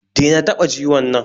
Dena taɓa ciwon nan